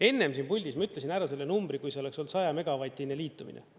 Enne siin puldis ma ütlesin ära selle numbri, kui see oleks olnud 100-megavatine liitumine.